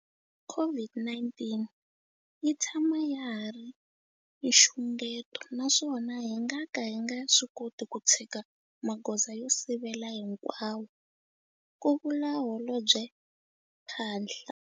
COVID-19 yi tshama ya ha ri nxungeto naswona hi nga ka hi nga swi koti ku tshika magoza yo sivela hinkwawo, ku vula Holobye Phaahla.